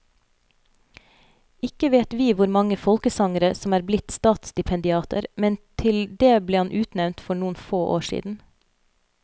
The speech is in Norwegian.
Ikke vet vi hvor mange folkesangere som er blitt statsstipendiater, men til det ble han utnevnt for noen få år siden.